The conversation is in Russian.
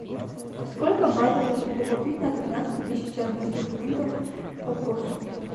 сколько батов я смогу купить на тринадцать тысяч английских фунтов по курсу